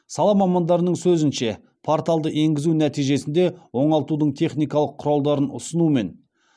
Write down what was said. сала мамандарының сөзінше порталды енгізу нәтижесінде оңалтудың техникалық құралдарын ұсыну мен